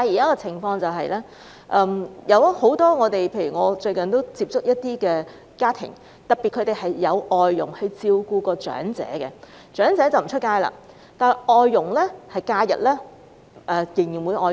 我最近接觸過一些聘有外傭的家庭，特別是由外傭照顧長者的家庭，長者不外出，但外傭在假日仍然會外出。